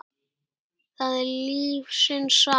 það er lífsins saga.